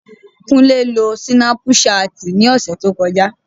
Kúnlé lo súnápù ṣáàtì ní ọ̀sẹ̀ tí ó kọjá